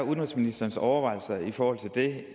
er udenrigsministerens overvejelser i forhold til det